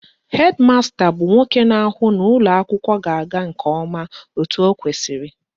Hed masta bụ nwoke na-ahụ na ụlọakwụkwọ ga-aga nke ọma etu ọ kwesịrị